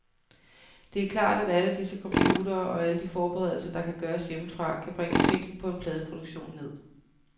Det er klart, at alle disse computere og alle de forberedelser, der kan gøres hjemmefra, kan bringe prisen på en pladeproduktion ned.